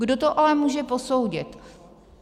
Kdo to ale může posoudit?